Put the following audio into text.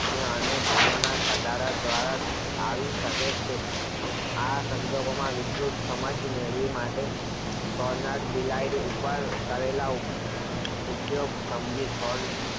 ને અને ભૂલોના કતાર દ્વારા આવી શકે છે આ સંજોગોમાં વિધુત સમાજ મેળવી માટે કોરટ બિલાઇડ ઉપર ઉપયોગ સમજી